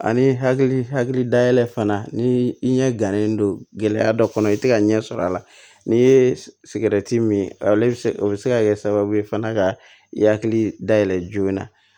Ani hakili hakili dayɛlɛ fana ni i ɲɛ gannen don gɛlɛya dɔ kɔnɔ i tɛ ka ɲɛ sɔrɔ a la n'i ye sigɛrɛti min ale bɛ se o bɛ se ka kɛ sababu ye fana ka i hakili da yɛlɛ joona